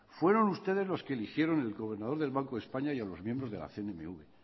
fueron ustedes los que eligieron el gobernador del banco de españa y a los miembros de la cnmv